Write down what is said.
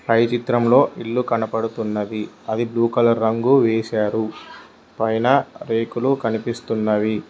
పై చిత్రంలో ఇల్లు కనపడుతున్నది అది బ్లూ కలర్ రంగు వేశారు పైన రేకులు కనిపిస్తున్నవి.